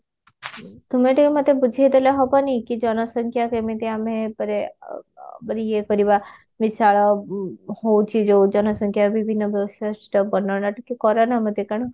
ହୁଁ ତୁମେ ଟିକେ ମୋତେ ବୁଝେଇଦେଲେ ହବନି କି ଜନସଂଖ୍ୟା କେମିତି ଆମେ ପରେ ଅ ମାନେ ଇଏ କରିବା ବିଶାଳ ଉଁ ହଉଛି ଯଉ ଜନସଂଖ୍ୟା ବିଭିନ୍ନ ବୈଶିଷ୍ଟ ବର୍ନନା ଟିକେ କରନା ମୋତେ କାରଣ